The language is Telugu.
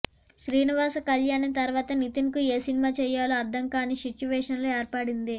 శ్రీనివాస కళ్యాణం తర్వాత నితిన్ కు ఏ సినిమా చేయాలో అర్దం కాని సిట్యువేషన్ ఏర్పడింది